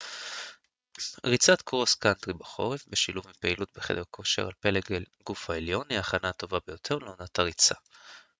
ריצת קרוס קאנטרי בחורף בשילוב עם פעילות בחדר הכושר על פלג הגוף העליון היא ההכנה הטובה ביותר לעונת הריצה